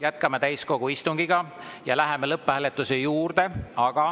Jätkame täiskogu istungit ja läheme lõpphääletuse juurde.